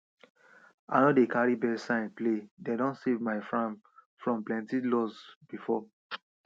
i no dey carry birds signs playdem don save my fram from plenty lose before